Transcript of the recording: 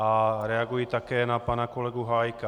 A reaguji také na pana kolegu Hájka.